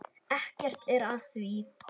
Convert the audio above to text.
Ekkert er að því.